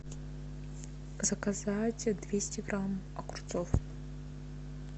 заказать двести грамм огурцов